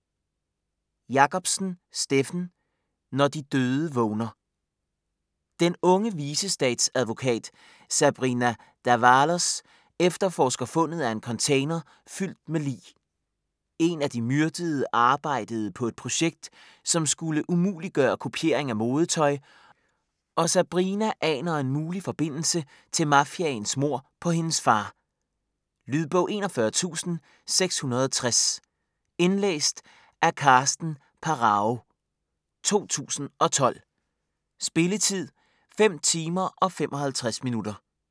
Jacobsen, Steffen: Når de døde vågner Den unge vicestatsadvokat Sabrina D'Avalos efterforsker fundet af en container fyldt med lig. En af de myrdede arbejdede på et projekt som skulle umuliggøre kopiering af modetøj, og Sabrina aner en mulig forbindelse til mafiaens mord på hendes far. Lydbog 41660 Indlæst af Karsten Pharao, 2012. Spilletid: 5 timer, 55 minutter.